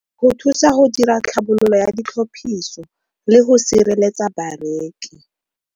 Go thusa go dira tlhabololo ya ditlhophiso le go sireletsa bareki.